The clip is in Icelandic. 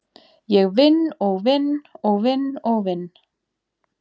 Ég vinn og vinn og vinn og vinn.